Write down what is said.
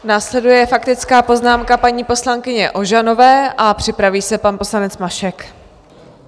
Následuje faktická poznámka paní poslankyně Ožanové a připraví se pan poslanec Mašek.